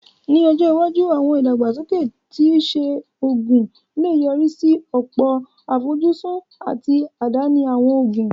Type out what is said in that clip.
Ní ọjọ́ iwájú, àwọn ìdàgbàsókè ti iṣẹ́ oògùn lè yọrí sí ọ̀pọ̀ àfojúsùn àti àdáni àwọn òògùn